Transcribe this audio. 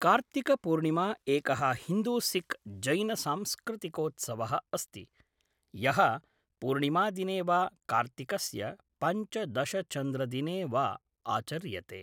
कार्तिकपूर्णिमा एकः हिन्दूसिख् जैनसांस्कृतिकोत्सवः अस्ति, यः पूर्णिमादिने वा कार्तिकस्य पञ्चदशचन्द्रदिने वा आचर्यते।